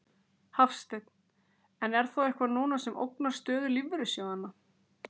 Hafsteinn: En er þá eitthvað núna sem ógnar stöðu lífeyrissjóðanna?